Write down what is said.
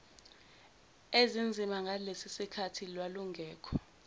ezinzima ngalesisikhathi lwalungekho